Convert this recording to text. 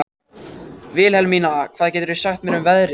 Vilhelmína, hvað geturðu sagt mér um veðrið?